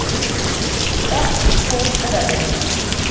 Datt úr rennibraut